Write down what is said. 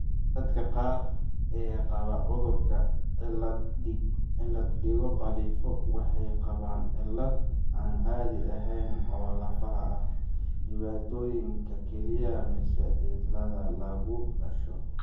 Dadka qaar ee qaba cudurka cilad digo khalifo' waxay qabaan cillado aan caadi ahayn oo lafaha ah, dhibaatooyinka kelyaha, mise cillad wadnaha lagu dhasho.